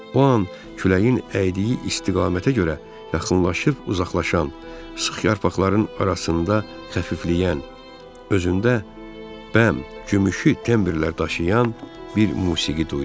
O an küləyin əydiyi istiqamətə görə yaxınlaşıb-uzaqlaşan, sıx yarpaqların arasında xəfifləyən, özündə bəm, gümüşü təmbirlər daşıyan bir musiqi duydum.